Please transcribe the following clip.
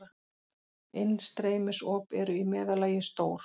Innstreymisop eru í meðallagi stór.